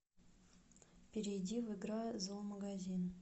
перейди в игра зоомагазин